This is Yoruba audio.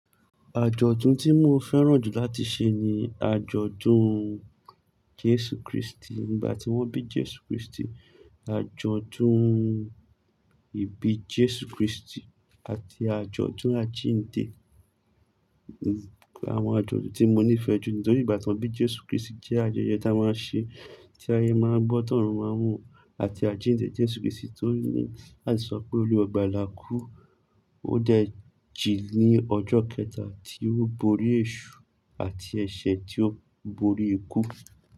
Àjọ̀dún tí mo fẹ́ràn jù láti ṣe ni àjọ̀dún Jésù Kristi. Nígbà tí wọ́n bí Jésù Kristi, àjọ̀dún ìbí Jésù Kristi àti àjọ̀dún àjíǹde. Àwọn àjọ̀dún tí mo nífẹ̀ẹ́ jù nítorí ìbátan bí Jésù Kristi jẹ́ àjọyọ̀ tá a máa ń ṣe, tí ayé máa ń bọ́, tá ọ̀run máa mọ àti àjíǹde Jésù Kristi torí ní láti sọ pé olúwa ogbà là kú, ó dẹ̀ jí ní ọjọ́ kẹta tí ó borí èṣù àti ẹ̀ṣẹ̀ tí ó borí ikú.